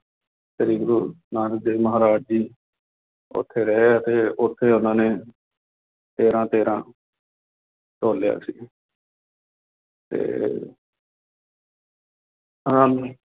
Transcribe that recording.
ਸ੍ਰੀ ਗੁਰੂ ਨਾਨਕ ਦੇਵ ਮਹਾਰਾਜ ਜੀ ਉੱਥੇ ਰਹੇ ਅਤੇ ਉੱਥੇ ਉਹਨਾਂ ਨੇ ਤੇਰਾ ਤੇਰਾ ਤੋਲਿਆ ਸੀ ਤੇ ਆਨੰਦ